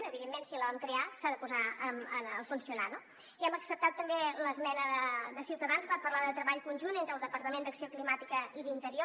evidentment si la vam crear s’ha de posar a funcionar no i hem acceptat també l’esmena de ciutadans per parlar de treball conjunt entre el departament d’acció climàtica i el d’interior